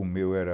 O meu era...